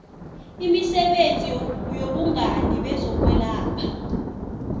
emisebenzini yobungani bezokwelapha